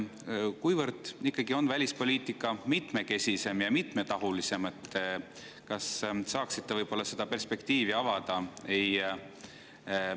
Kuivõrd välispoliitika on ikkagi mitmekesisem ja mitmetahulisem, kas saaksite perspektiivi avada?